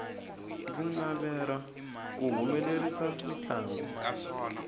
ndzi navera ku humelerisa mintlangu